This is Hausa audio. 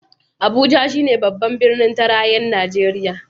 Abuja shi ne Babban Birnin Tarayyar Najeriya.